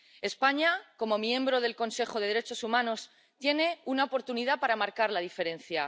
España, como miembro del Consejo de Derechos Humanos, tiene una oportunidad para marcar la diferencia.